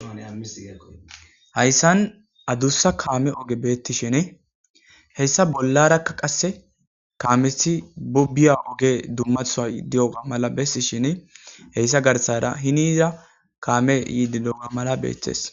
Hayssani addussa kame ogey betishin hassa bollaraka qasse kammeza togiya oge dummasoy hayssa garssara henira kamey yiddi gelenna malay betees.